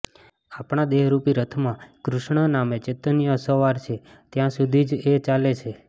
આપણા દેહરૂપી રથમાં કૃષ્ણ નામે ચૈતન્ય અસવાર છે ત્યાં સુધી જ એ ચાલે છે